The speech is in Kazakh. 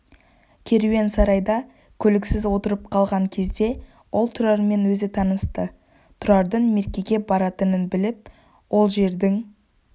керуен сарайда көліксіз отырып қалған кезде ол тұрармен өзі танысты тұрардың меркеге баратынын біліп ол жердің